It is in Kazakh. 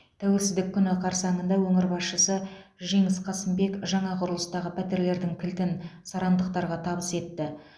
тәуелсіздік күні қарсаңында өңір басшысы жеңіс қасымбек жаңа құрылыстағы пәтерлердің кілтін сарандықтарға табыс етті